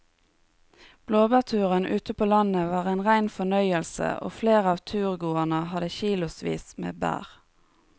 Blåbærturen ute på landet var en rein fornøyelse og flere av turgåerene hadde kilosvis med bær.